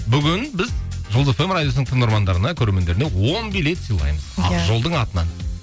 бүгін біз жұлдыз эф эм радиосының тыңдармандарына көрермендеріне он билет сыйлаймыз иә ақжолдың атынан